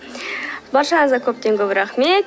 баршаңызға көптен көп рақмет